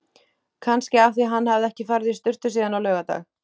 Kannski af því hann hafði ekki farið í sturtu síðan á laugardag.